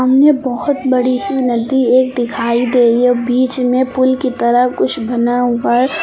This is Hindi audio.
मुझे बहोत बड़ी सी नदी एक दिखाई दे रही है। बीच में पूल की तरह कुछ बना हुआ है।